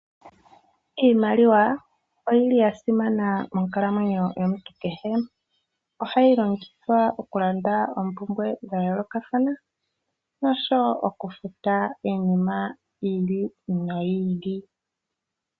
Iimaliwa oyili ya simana monkalamwenyo yomuntu kehe. Ohayi longithwa oku landa oompumbwe dha yolokathana noshowo oku futa iinima yi ili noyi ili.